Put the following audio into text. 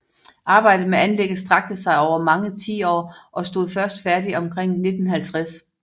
Arbejdet med anlægget strakte sig over mange tiår og stod først færdig omkring 1950